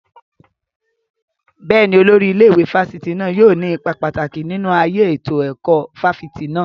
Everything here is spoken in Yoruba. Bẹ́ẹ̀ni, Olórí ilé ìwé fásitì náà yóò ní ipa pàtàkì nínú ayé ètò ẹ̀kọ́ fáfitì náà